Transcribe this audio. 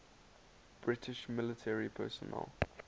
british military personnel